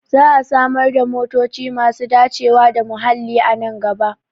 Za a samar da motoci masu dacewa da muhalli a nan gaba